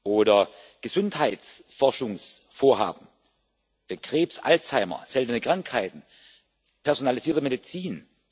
Oder Gesundheitsforschungsvorhaben Krebs, Alzheimer, seltene Krankheiten, personalisierte Medizin.